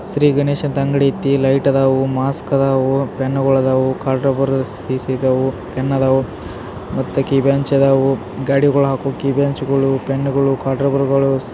ಶ್ರೀ ಗಣೇಶ ಅಂತ ಅಂಗಡಿ ಐತಿ ಲೈಟ್ ಅದಾವು ಮಾಸ್ಕ ಆದವು ಪೆನ್ನುಗಳು ಅದಾವು ಖಾಟ್ ರಬ್ಬರ್ ಸಿಸ್ ಇದಾವು ಪೆಣ್ ಇದಾವು ಮತ್ ಕೀಬಂಚ್ ಇದಾವು ಗಾಡಿಗೋಲ್ ಹಾಕುವ ಕೀಬಂಚ್ಗಳು ಪೆನ್ಗಳು ಖಟ್ ರಬ್ಬರ್ಗಳು .